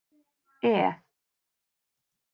E